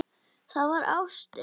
Það var ástin.